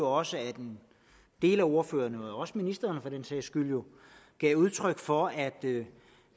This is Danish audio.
også at en del af ordførerne og også ministeren for den sags skyld gav udtryk for at det